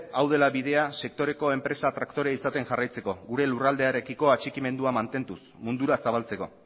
hau dela bidea sektoreko enpresa traktore izaten jarraitzeko gure lurralderekiko atxikimendua mantenduz mundura zabaltzeko